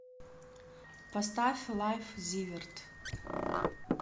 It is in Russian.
поставь лайф зиверт